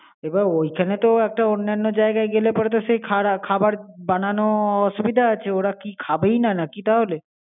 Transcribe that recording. এবার ওইখানে তো একটা অন্যান্য জায়গায় গেলে পরে তো সেই খারা খাবার বানানো অসুবিধা আছে ওরা কি খাবেই না, নাকি তাহলে?